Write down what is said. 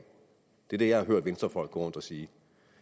det er det jeg har hørt venstrefolk gå rundt og sige